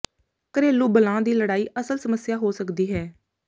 ਘਰੇਲੂ ਬਲਾਂ ਦੀ ਲੜਾਈ ਅਸਲ ਸਮੱਸਿਆ ਹੋ ਸਕਦੀ ਹੈ